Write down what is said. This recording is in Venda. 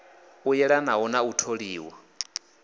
u yelanaho na u tholiwa